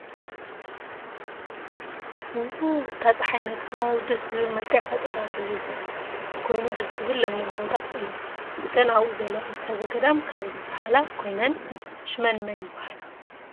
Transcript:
እታ ፅሓይ ነቲ ከባቢ ደስ ዝብል መልክዕ ፈጢራትሉዘላ ኮይኑ ደስ ዝብል ለምለም ቦታ እዩ። እተን ኣብኡ ዘለዋ እንስሳ ዘገዳም ካብ ዝብሃላ ኮይነን ሽመን ምን ይብሃላ?